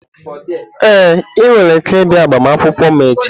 Ee, ị nwere ike ịbịa agbamakwụkwọ m echi.